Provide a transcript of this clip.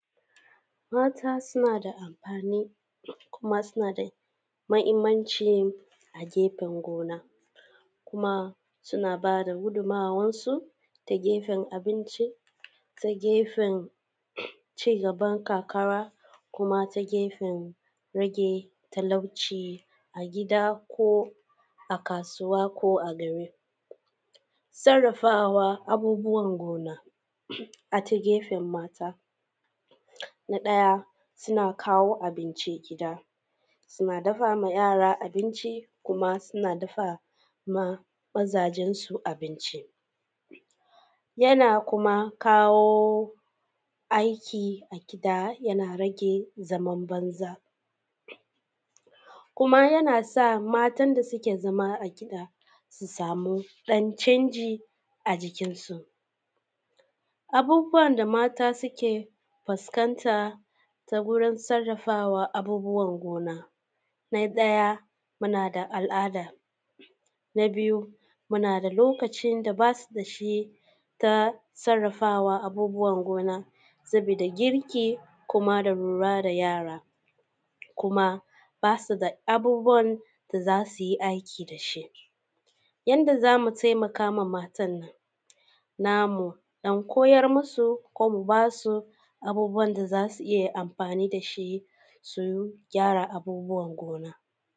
Mata suna da amfani, kuma suna da mahinmanci a gefen gona, kuma suna ba da gudunmawansu ta gefen abinci, ta gefen cigaban ƙarkara, kuma ta gefen rage talauci a gida, ko a kasuwa, ko gari. Sarrafawa abubbuwan gona a ta gefen mata, na ɗaya: suna kawo abinci, suna dafa ma yara abinci, kuma suna dafa ma mazansu abinci, yana kuma kawo aiki a gida, yana rage zaman banza, kuma yana sa matan da suke zama a gida, su samu ɗan zan ji a jikinsu, abubbuwan da mata suke fuskanta ta wurin sarrafawa abubbuwan gona: na ɗaya muna da al’ada, na biyu muna da lokacin da basu da shi ta sarrafawa abubbuwan gona, saboda girki, kuma da lura da yara. kuma ba su da abubbuwan da zasu yi aiki da shi. Yadda za mu taimaka ma wandannan matannan namu, don koyar musu, ko mu ba su abubbuwan da za su iya amfaani da shi, su gyara abubbuwan gona.